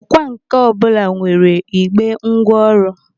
Ọkwà nkà ọbụla nwere igbe ngwa ọrụ.